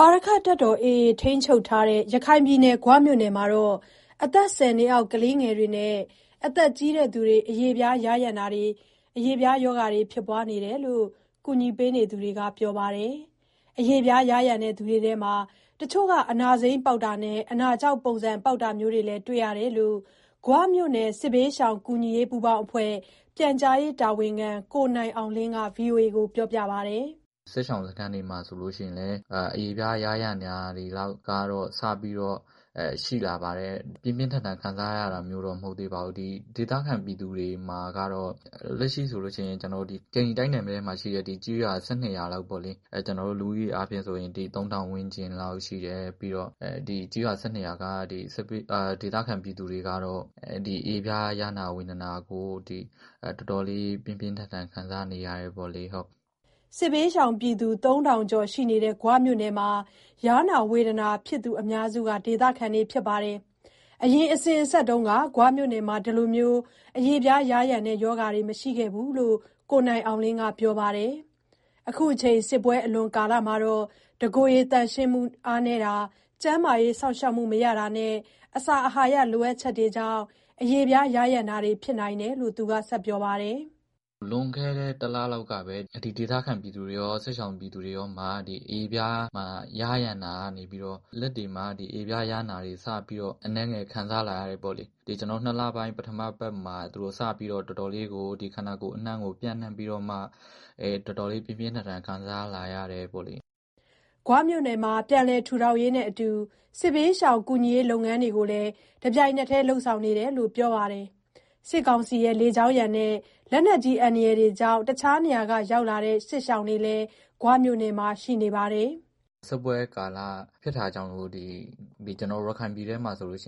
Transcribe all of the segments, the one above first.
အာရက္ခတပ်တော် AA ထိန်းချုပ်ထားတဲ့ ရခိုင်ပြည်နယ်၊ ဂွမြို့နယ်မှာ အသက် ၁၀ နှစ်အောက် ကလေးတွေနဲ့ အသက်ကြီးသူတွေ အရေပြားယားယံတာဖြစ်နေတယ်လို့ ကူညီနေသူတွေက ပြောပါတယ်။ အရေပြားယား ယံသူတွေထဲမှာ တချို့က အနာစိမ်းပေါက်တာနဲ့ အနာခြောက်ပုံစံပေါက်တာမျိုးတွေလည်း တွေ့ရတယ်လို့ ဂွမြို့နယ် စစ်ဘေးရှောင်ကူညီရေး ပူးပေါင်းအဖွဲ့ ပြန်ကြားရေးတာဝန်ခံ ကိုနိုင်အောင်လင်းက ပြောပါတယ်။ "စစ်ရှောင်စခန်းတွေမှာ အရေပြားယားယံတာတွေက စပြီးတော့ရှိလာပါတယ်။ ပြင်းပြင်းထန်ထန် ခံစားရ တာမျိုးတော့ မဟုတ်သေးပါဘူး။ ဒေသခံ ပြည်သူတွေမှာကတော့ ကျိန္တလီတိုက်နယ်ထဲမှာရှိတဲ့ ကျေးရွာ ၁၂ ရွာလောက်ပေါ့။ လူဦးရေကတော့ ၃,၀၀၀ ဝန်းကျင်လောက်ရှိတယ်။ ဒီကျေးရွာ ၁၂ ရွာကဒေသခံ ပြည်သူ တွေကတော့ အရေပြားယားနာဝေဒနာကို တော်တော်လေး ပြင်းပြင်းထန်ထန် ခံစားနေရတယ်။" စစ်ဘေးရှောင်သုံးထောင် ကျော်ရှိနေတဲ့ ဂွမြို့နယ်မှာ ယားနာဝေဒနာဖြစ်သူအများစုက ဒေသခံတွေ ဖြစ်ပါတယ်။ အရင်အစဉ်အဆက်က ဂွမြို့နယ်မှာ အခုလို အရေပြားယားယံတာမျိုးတွေမရှိခဲ့ဘူးလို့ ကိုနိုင်အောင်လင်းက ပြောပါတယ်။ အခုချိန် စစ်ပွဲအလွန်ကာလမှာ တကိုယ်ရေသန့်ရှင်းမှု၊ ကျန်းမာရေး စောင့်ရှောက်မှု မရတာနဲ့ အစာအာဟာရလိုအပ်ချက်တွေကြောင့် အရေပြားယားယံတာတွေ ဖြစ်နိုင်တယ်လို့ ပြောပါတယ်။ "လွန်ခဲ့တဲ့တလလောက်ကပဲ ဒေသခံပြည်သူတွေရော၊ စစ်ရှောင်တွေရောမှာ အရေပြားမှာ ယားယံတာက နေပြီးတော့ လက်တွေမှာယားနာတွေ စပြီးတော့ အနည်းငယ်ခံစားလာရတယ်။ ဒီ နှစ်လပိုင်းပထမပတ်မှာ သူတို့တွေ ခန္ဓာကိုယ်အနှံ့ကို ပျံ့နှံ့ပြီးတော့ တော်တော်လေး ပြင်းပြင်းထန်ထန် ခံစားလာရတယ်။" ဂွမြို့နယ်မှာ ပြန်လည်ထူထောင်ရေးနဲ့အတူ စစ်ဘေးရှောင်ကူညီရေး လုပ်ငန်းတွေကိုလည်း တပြိုင်တည်း လုပ်ဆောင်နေတယ်လို့ ပြောပါတယ်။ စစ်ကောင်စီရဲ့ လေကြောင်းရန်နဲ့ လက်နက်အန္တရာယ်ကြောင့် တခြားနေရာကနေ ရောက်လာတဲ့ စစ်ရှောင်တွေလည်း ဂွမြို့နယ်မှာ ရှိနေတာပါ။ "စစ်ပွဲကာလဖြစ်တာကြောင့် ကျနော်တို့ ရခိုင်ပြည်ထဲမှာ စားနပ်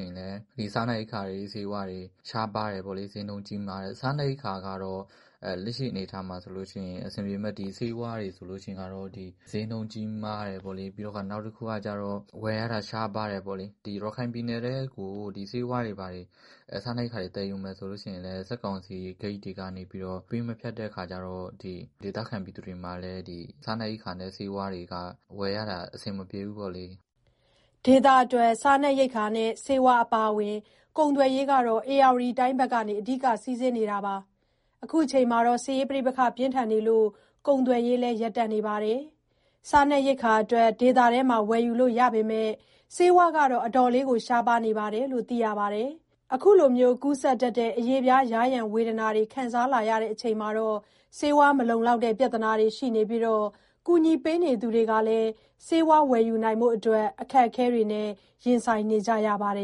ရိက္ခာနဲ့ ဆေးဝါးတွေရှားပါတယ်။ စျေးနှုန်း ကြီးမားတယ်။ စားနပ်ရိက္ခာက လက်ရှိအနေအထားမှာ အဆင်ပြေပေမဲ့ ဆေးဝါးတွေကတော့ စျေးနှုန်းကြီးမားတယ်။ နောက်တခုက ဝယ်ရတာရှားပါးတယ်။ ရခိုင်ပြည်နယ်ထဲကို ဆေးဝါးနဲ့ စားနပ်ရိက္ခာတွေ သယ်ယူမယ်ဆိုရင်လည်း စစ်ကောင်စီဂိတ်တွေက ပေးမဖြတ်တဲ့အခါကျတော့ ဒေသခံပြည်သူတွေအတွက် ဆေးဝါးနဲ့ စားနပ်ရိက္ခာက ဝယ်ရတာအဆင်မပြေဘူး။" ဒေသအတွက် စားနပ်ရိက္ခာနဲ့ ဆေးဝါးအပါအဝင် ကုန်သွယ်ရေးဟာ ဧရာဝတီတိုင်းဘက်ကနေ အဓိက စီးဆင်းနေတာပါ။ အခုချိန်မှာ စစ်ရေးပဋိပက္ခကြောင့် ကုန်သွယ်ရေးလည်း ရပ်တန့်နေပါတယ်။ စားနပ် ရိက္ခာအတွက် ဒေသထဲမှာ ဝယ်ယူလို့ရသေးပေမယ့် ဆေးဝါးကတော့ တော်တော်လေးရှားပါးနေတယ်လို့ သိရပါတယ်။ အခုလို ကူးစက်တတ်တဲ့ အရေပြားယားယံ ဝေဒနာတွေ ခံစားလာရချိန်မှာ ဆေးဝါး မလုံလောက်တဲ့ ပြဿနာတွေရှိနေပြီး ကူညီနေသူတွေကလည်း ဆေးဝါးဝယ်ယူနိုင်ဖို့အတွက် အခက်အခဲတွေ ရင်ဆိုင်နေရပါတယ်